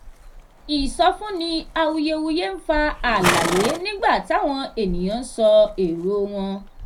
ìsọfúnni awuyewuye ń fa àlàyé nígbà táwọn ènìyàn ń sọ èrò wọn.